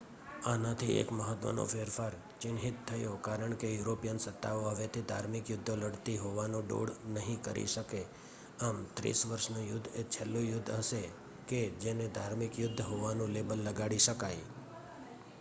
આનાથી એક મહત્ત્વનો ફેરફાર ચિહ્નિત થયો કારણ કે યુરોપિયન સત્તાઓ હવેથી ધાર્મિક યુદ્ધો લડતી હોવાનો ડોળ નહીં કરી શકે આમ ત્રીસ વર્ષનું યુદ્ધ એ છેલ્લું યુદ્ધ હશે કે જેને ધાર્મિક યુદ્ધ હોવાનું લેબલ લગાડી શકાય